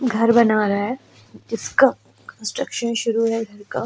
घर बना रहा जीसका कस्ट्रक्शन शुरू है घर का --